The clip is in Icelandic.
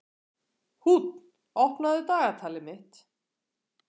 Húnn, opnaðu dagatalið mitt.